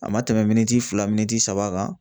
A ma tɛmɛ miniti fila min kan